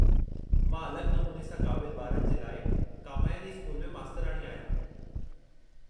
मां अलॻि नमूने सां क़ाबिलु ॿारनि जे लाइ कामायिनी स्कूल में मास्तराणी आहियां।